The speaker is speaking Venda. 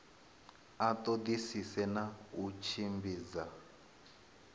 a ṱoḓisise na u tshimbidza